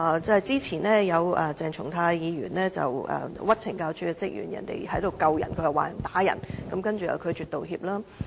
早前鄭松泰議員誣衊懲教署職員，職員在救人，卻被他說成是打人，但他拒絕道歉。